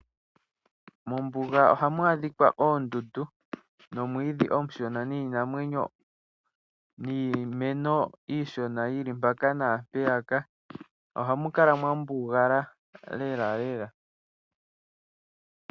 Mombuga ohamu adhika oondundu nomwiidhi omushona niinamwenyo niimeno iishona yili mpaka naampeyaka. Ohamu kala mwambugala lelalela.